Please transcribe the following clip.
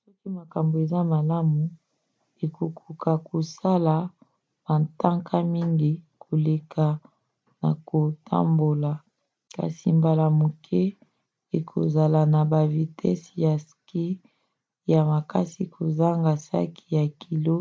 soki makambo eza malamu okokoka kosala bantaka mingi koleka na kotambola – kasi mbala moke okozala na bavitese ya ski ya makasi kozanga saki ya kilo